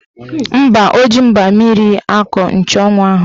Mba, o ji mgba mmiri kọọ nchanwụ ahụ.